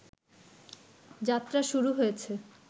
যাত্রা শুরু হয়েছে